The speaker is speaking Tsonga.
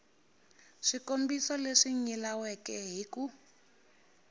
swikombiso leswi nyilaweke hi ku